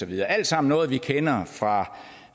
det er alt sammen noget vi kender